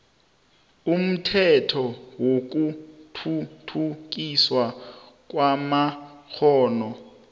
umthetho wokuthuthukiswa kwamakghono